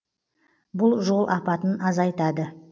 бұл жол апатын азайтады